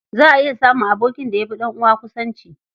Za a iya samun abokin da ya fi ɗan'uwa kusanci.